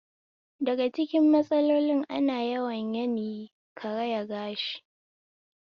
Daga cikin matsalolin ana yawan yaniyi karaya gashi